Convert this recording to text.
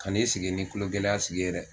Kan'i sigi ni tulogɛlɛya sigi ye dɛ